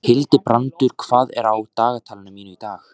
Hildibrandur, hvað er á dagatalinu mínu í dag?